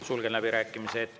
Sulgen läbirääkimised.